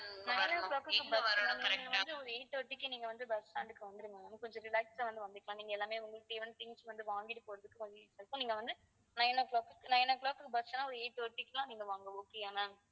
ஆஹ் nine o'clock கு busma'am நீங்க வந்து ஒரு eight thirty க்கு நீங்க வந்து bus stand க்கு வந்துருங்க ma'am கொஞ்சம் relaxed ஆ வந்து வந்துக்கலாம் நீங்க எல்லாமே உங்களுக்கு தேவையான things வந்து வாங்கிட்டு போறதுக்கு கொஞ்சம் easy இருக்கும் நீங்க வந்து nine o'clock nine o'clock க்கு bus ன்னா ஒரு eight thirty க்கு எல்லாம் நீங்க வாங்க okay யா ma'am